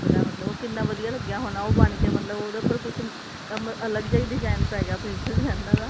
ਮਤਲਬ ਕਿੰਨਾ ਵਧੀਆ ਲੱਗਿਆ ਹੋਣਾ ਉਹ ਬਣ ਕੇ ਮਤਲਬ ਉਹਦੇ ਉੱਪਰ ਕੁਝ ਅੱਲਗ ਜਾ ਹੀ design ਪੈ ਗਿਆ princess ਲਾਈਨਾ